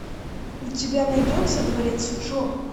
у тебя найдется дворец джо